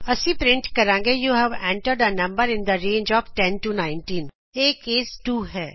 ਅਸੀਂ ਪਰਿੰਟ ਕਰਾਂਗੇ you have entered a number in the range of 10 19 ਇਹ case 2 ਹੈ